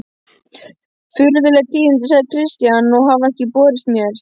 Furðuleg tíðindi, sagði Christian,-og hafa ekki borist mér.